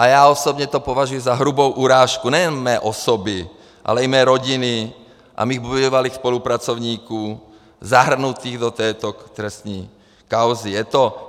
A já osobně to považuji za hrubou urážku nejen mé osoby, ale i mé rodiny a mých bývalých spolupracovníků zahrnutých do této trestní kauzy.